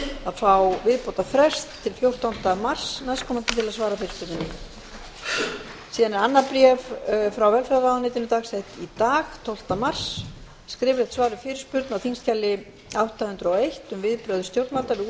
að fá viðbótarfrest til fjórtánda mars næstkomandi til að svara fyrirspurn síðan er annað bréf frá velferðarráðuneytinu dagsett í dag tólf mars skriflegt svar við fyrirspurn á þingskjali átta hundruð og eitt um viðbrögð stjórnvalda